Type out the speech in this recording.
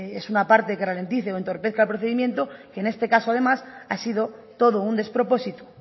es una parte que ralentice o entorpezca el procedimiento que en este caso además ha sido todo un despropósito